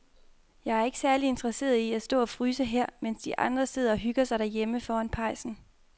Jeg er ikke særlig interesseret i at stå og fryse her, mens de andre sidder og hygger sig derhjemme foran pejsen.